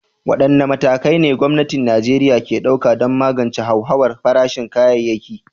Wadanne matakai ne gwamnatin Najeriya ke ɗauka don magance hauhawar farashin kayayyaki?